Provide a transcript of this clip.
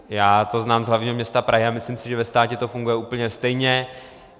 Já to znám z hlavního města Prahy a myslím si, že ve státě to funguje úplně stejně.